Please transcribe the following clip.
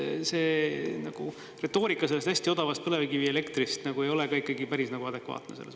See retoorika sellest hästi odavast põlevkivielektrist ei ole päris adekvaatne.